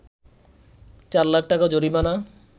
৪ লাখ টাকা জরিমানা